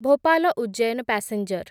Bhopal Ujjain passenger